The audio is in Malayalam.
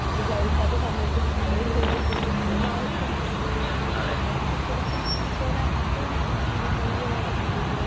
വിചാരിക്കാത്ത സമയത്ത് മഴയും പെയ്യും അപ്പോഴും ആവശ്യമുണ്ട് അപ്പോ ശെരിക്കും കുട എപ്പോഴും കൈയ്യില് വേണ്ട ഒരു സാധനമായിട്ടുണ്ട്